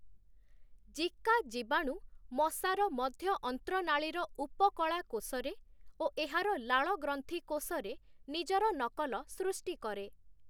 Zika, ଜୀବାଣୁ ମଶାର ମଧ୍ୟ-ଅନ୍ତ୍ରନାଳୀର ଉପକଳା କୋଷରେ ଓ ଏହାର ଲାଳ ଗ୍ରନ୍ଥି କୋଷରେ ନିଜର ନକଲ ସୃଷ୍ଟି କରେ ।